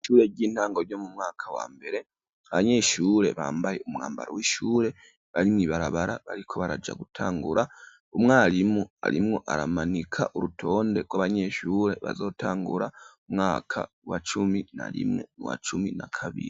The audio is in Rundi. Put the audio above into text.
Ishure ry'intango ryo mu mwaka wa mbere, abanyeshure bambaye umwambaro w'ishure barimw'ibarabara bariko baraja gutangura ,umwarimu arimwo aramanika urutonde rw'abanyeshure bazotangura umwaka wa cumi na rimwe wa cumi na kabiri.